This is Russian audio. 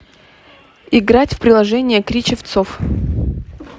играть в приложение кричевцов